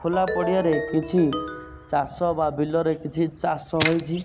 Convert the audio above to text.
ଖୋଲା ପଡ଼ିଆରେ କିଛି ଚାଷ ବା ବିଲରେ କିଛି ଚାଷ ହୋଇଛି।